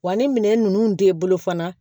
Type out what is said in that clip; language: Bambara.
Wa ni minɛn ninnu t'i bolo fana